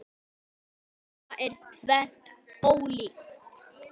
Þetta er tvennt ólíkt.